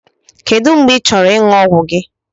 Kedu mgbe ịchọrọ ịṅụ ọgwụ gị?